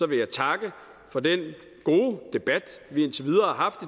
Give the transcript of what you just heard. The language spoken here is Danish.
vil jeg takke for den gode debat vi indtil videre har haft